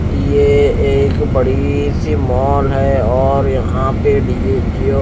ये एक बड़ी सी मॉल है और यह पर डी_जे --